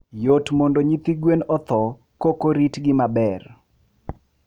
yot mondo nyithi gwen otho kokorit gi maber.